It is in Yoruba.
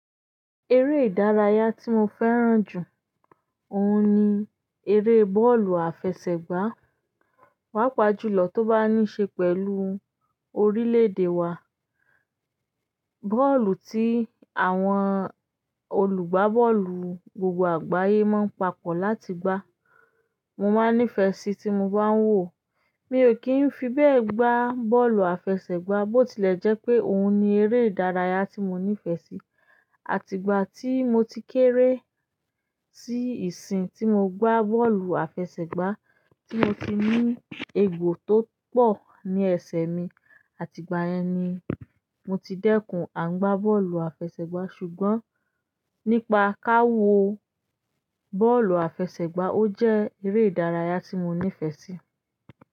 Eré ìdárayá tí mo fẹ́ràn jù, òun ni eré bọ́ọ̀lù àfẹsẹ̀gbá. Paápa jùlọ tó bá ní ṣe pẹ̀lú orílẹ̀-èdè wa. Bọ́ọ̀lù tí àwọn olùgbá bọ́ọ̀lù gbogbo àgbáyé máa ń papọ̀ láti gbá. Mo máa nífẹ̀ẹ́ síi tí mo bá ń wòó. Mi ò kí n fi bẹ́ẹ̀ gbá bọ́ọ̀lù àfẹsẹ̀gbá, bó tilẹ̀ jẹ́ pé òun ni eré ìdárayá tí mo nífẹ̀ẹ́ sí. Àti ìgbà ti mo ti keere ti isin ti mo gba bọ́ọ̀lù afesegba ti mo ti ni egbo to po ni ese mi àti ìgbà yen ni mo ti dẹ́kun a n gba bọ́ọ̀lù afesegba ṣùgbọ́n nípa ká wo bọ́ọ̀lù àfẹsẹ̀gbá, ó jẹ́ eré ìdárayá tí mo nífẹ̀ẹ́ sí.